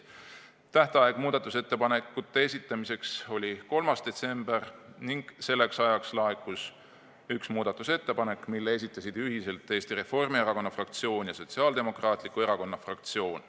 Tähtaeg muudatusettepanekute esitamiseks oli 3. detsember ning selleks ajaks laekus üks muudatusettepanek, mille esitasid ühiselt Eesti Reformierakonna fraktsioon ja Sotsiaaldemokraatliku Erakonna fraktsioon.